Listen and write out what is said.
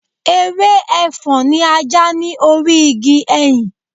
Ewé Ẹfọ́n ni a já ní orí igi ẹyìn.